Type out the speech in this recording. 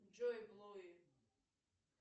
джой блоги